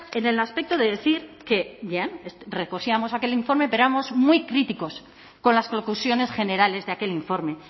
en el aspecto de decir que bien recogíamos aquel informe pero éramos muy críticos con las conclusiones generales de aquel informe